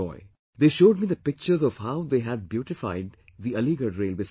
They showed me the pictures of how they had beautified the Aligarh railway station